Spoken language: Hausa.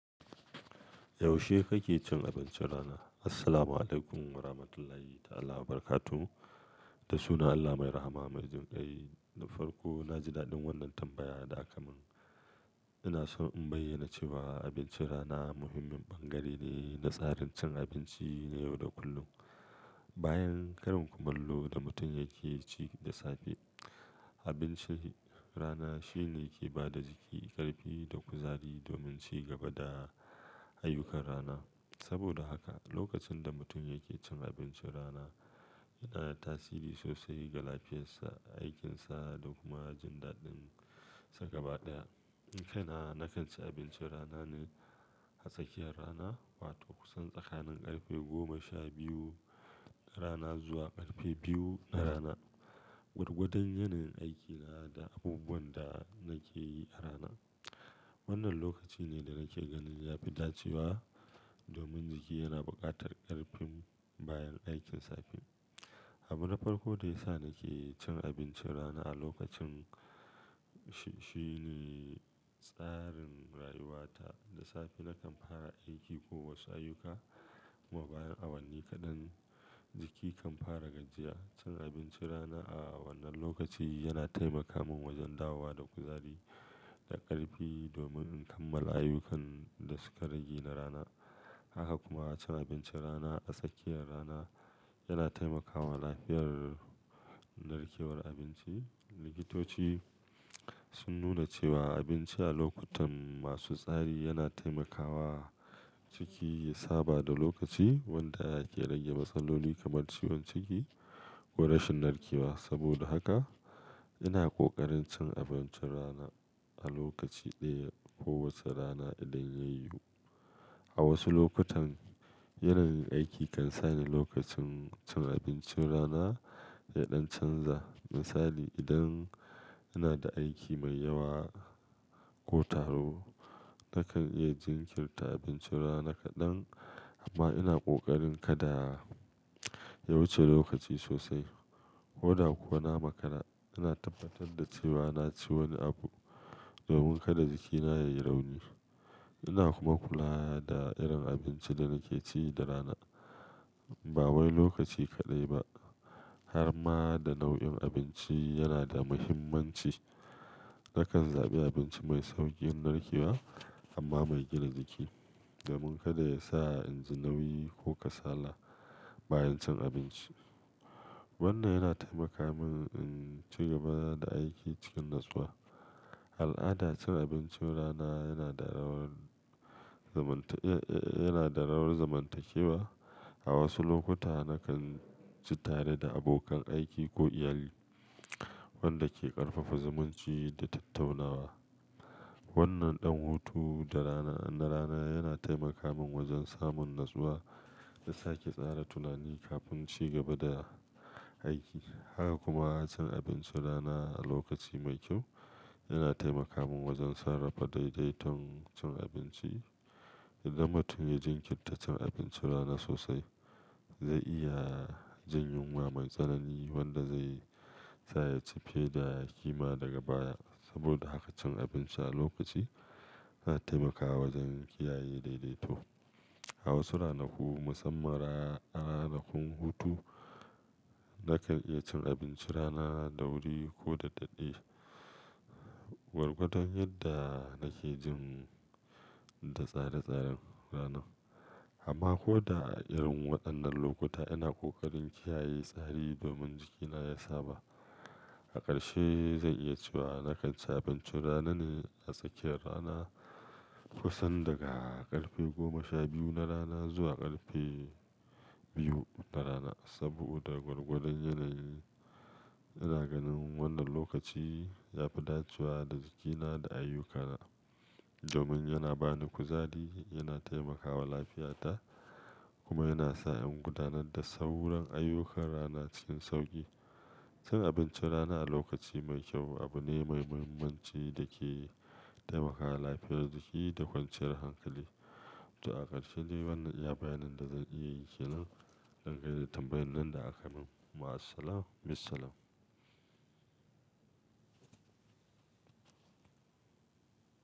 Yaushe kake cin abincin rana? Assalamu alaikum wa rahmatullahi ta'ala wa barakatu. Da sunan Allah mai rahama majian kai. Na farko, na ji daɗin wannan tambayar da aka min. Ina so in bayyana cewa abincin rana muhimmin bangare ne na tsarin cin abinci na yau da kullum. Bayan karin kumallo da mutum yake ci da safe, abincin rana shine yake ba da jiki ƙarfi da kuzari domin ci gaba da ayyukan rana. Saboda haka, lokacin da mutum yake cin abincin rana yana da tasiri sosai ga lafiyarsa, aikinsa da kuma jin daɗin sa gaba ɗaya. Ni kaina, na kan ci abincin rana ne a tsakiyar rana, wato kusan tsakanin ƙarfe goma sha biyu rana zuwa ƙarfe biyu na rana, gwargwadon yanayin aikina da abubuwan da nake yi a rana. Wannan lokaci ne da nake ganin ya fi dacewa domin jiki yana buƙatar ƙarfin bayan aikin safe. Abu na farko da ya sa nake cin abincin rana a lokacin shi shi ne tsarin rayuwata. Da safe na kan fara aiki ko wasu ayyuka, kuma bayan awanni kaɗan jiki kan fara gajiya. Cin abincin rana a wannan lokaci yana taimaka min wajen dawowa da kuzari da ƙarfi domin in kammala ayyukan da suka rage na rana. Haka kuma cin abincin rana a tsakiyar rana yana taimakawa lafiyar narkewar abinci. Likitoci sun nuna cewa abinci a lokutan masu tsari yana taimakawa jiki ya saba da lokaci wanda yake rage matsaloli kamar ciwon ciki ko rashin narkewa. Saboda haka, ina ƙoƙarin cin abincin rana a lokaci ɗaya kowace rana idan ya yiwu. A wasu lokutan, yanayin aiki kan sa ni lokacin cin abincin rana ya ɗan canza. Misali, idan ina da aiki mai yawa ko taro, na kan iya jinkirta abincin rana kaɗan, amma ina ƙoƙarin kada ya wuce lokaci sosai. Ko da kuwa na makara, ina tabbatar da cewa na ci wani abu domin kada jikina ya yi rauni. Ina kuma kula da irin abinci da nake ci da rana. Ba wai lokaci kaɗai ba, har ma da nau'in abinci yana da muhimmanci. Na kan zaɓi abinci mai sauƙin narkewa amma mai gina jiki, da mun kada ya sa inji nauyi ko kasala bayan cin abinci. Wannan yana taimaka min in ci gaba da aiki cikin natsuwa. Al'ada cin abincin rana yana da rawar damantak, yana da rawar zamantakewa. A wasu lokuta, na kan ci tare da abokan aiki ko iyali, wanda ke ƙarfafa zumunci da tattaunawa. Wannan ɗan hutu na rana yana taimaka min wajen samun natsuwa da sake tsara tunani kafin ci gaba da aiki. Haka kuma cin abincin rana a lokaci mai kyau yana taimaka min wajen sarrafa daidaiton cin abinci. Idan mutum ya jinkirta cin abincin rana sosai, zai iya jin yunwa mai tsanani wadda zai sa ya ci fiya ƙima daga baya. Saboda haka cin abinci a lokaci yana taimakawa wajen kiyaye daidaito. A wasu ranaku, musamman a ranakun hutu, na kan iya cin abincin rana da wuri ko da daɗɗe, gwargwadon yadda nake jin da tsare-tsaren ranan. Amma ko da a irin waɗannan lokuta, ina ƙoƙarin kiyaye tsari domin jikina ya saba. A ƙarshe, zan iya cewa na kan ci abincin rana ne a tsakiyar rana, kusan daga ƙarfe goma sha biyu na rana zuwa ƙarfe biyu na rana. Saboda gwargwadon yanayi, ina ganin wannan lokaci ya fi dacewa da jikina da ayyukana, domin yana ba ni kuzari, yana taimakawa lafiyata kuma yana sa in gudanar da sauran ayyukan rana cikin sauƙi. Cin abincin rana a lokaci mai kyau abu ne mai muhimmanci da ke taimakawa lafiyar jiki da kwanciyar hankali. To a ƙarshe ne wannan iya bayanin da zan iya yi ke nan don gaida tambayar nan da aka min. Ma'as-salama, be-salam.